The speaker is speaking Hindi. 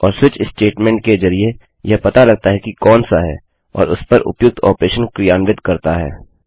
और स्विच स्टेटमेंट के जरिये यह पता लगता है कि कौन सा है और उसपर उपयुक्त ऑपरेशन क्रियान्वित करता है